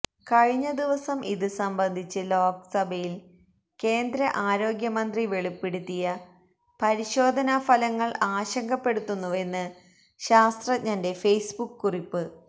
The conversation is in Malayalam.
കഴിഞ്ഞ ദിവസം ഇത് സംബന്ധിച്ച് ലോക്സഭയിൽ കേന്ദ്ര ആരോഗ്യമന്ത്രി വെളിപ്പെടുത്തിയ പരിശോധനാ ഫലങ്ങൾ ആശങ്കപ്പെടുത്തുന്നുവെന്ന് ശാസ്ത്രഞ്ജന്റെ ഫേസ്ബുക്ക് കുറിപ്പ്